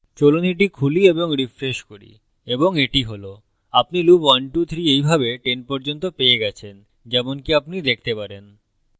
চলুন এটি খুলি এবং refresh করি এবং এটি হল আপনি loop 123 এইভাবে 10 পর্যন্ত পেয়ে গেছেন যেমনকি আপনি দেখতে পারেন